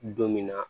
Don min na